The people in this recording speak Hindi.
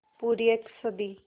पूरी एक सदी